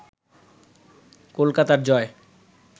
কলকাতার জয়